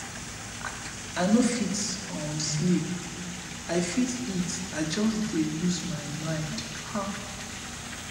i no fit um sleep i fit eat i just dey lose my mind um